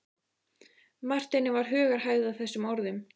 Marteini varð hugarhægð að þessum orðum.